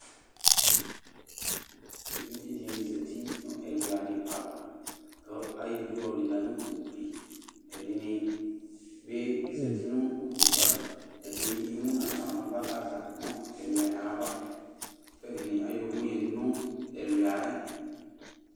Evidze dini zati nu ɛlua di ava, ku ayɔ idu ɔ lila nu ugli Ɛdini bi zeti nu utika, ɛdini emu n'aɣla n'ava kaza nu ɛlua ava, k'ɛdini ay'ʊvu yadu nu ɛlua yɛ